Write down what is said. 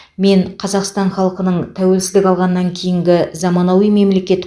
мен қазақстан халқының тәуелсіздік алғаннан кейінгі заманауи мемлекет